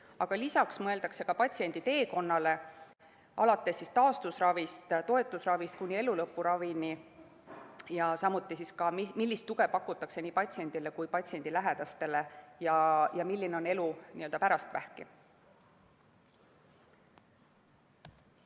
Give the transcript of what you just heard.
Aga lisaks mõeldakse patsiendi teekonnale alates taastusravist ja toetusravist kuni elulõpuravini, samuti sellele, millist tuge pakutakse nii patsiendile kui ka patsiendi lähedastele ning milline on elu n‑ö pärast vähki.